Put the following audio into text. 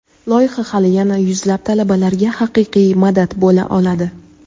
loyiha hali yana yuzlab talabalarga haqiqiy madad bo‘la oladi.